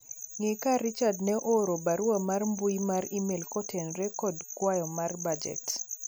ng'e ka Richard ne ooro barua mar mbui mar email kotenore kod kwayo mar bajet